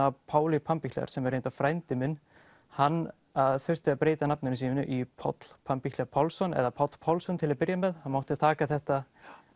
Páli Pampichler sem er reyndar frændi minn hann þurfti að breyta nafninu í Páll Pálsson eða Páll Pálsson til að byrja með hann mátti taka þetta